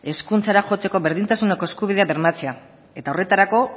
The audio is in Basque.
hezkuntzara jotzeko berdintasuneko eskubidea bermatzea eta horretarako